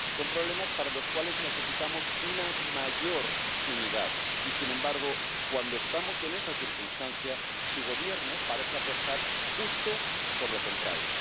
Son problemas para los cuales necesitamos una mayor unidad y, sin embargo, cuando estamos en esa circunstancia, su Gobierno parece apostar justo por lo contrario.